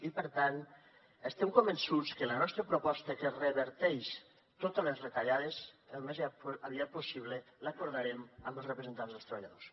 i per tant estem convençuts que la nostra proposta que reverteix totes les retallades al més aviat possible l’acordarem amb els representants dels treballadors